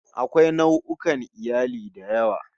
Akwai nau'ukan iyali da yawa